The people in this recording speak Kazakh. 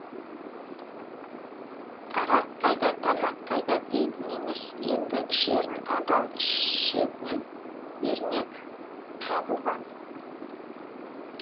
арақ қайда тамақ қайда дейтін емес енді ішерін адал ішетін ермек табылған